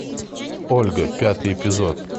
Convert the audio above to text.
ольга пятый эпизод